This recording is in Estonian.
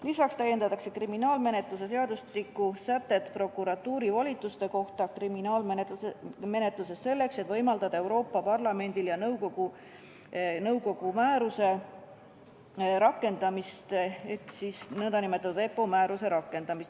Lisaks täiendatakse kriminaalmenetluse seadustiku sätet prokuratuuri volituste kohta kriminaalmenetluses, et võimaldada Euroopa Parlamendi ja nõukogu nn EPPO määruse rakendamist.